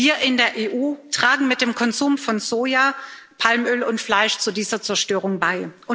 Wir in der EU tragen mit dem Konsum von Soja, Palmöl und Fleisch zu dieser Zerstörung bei.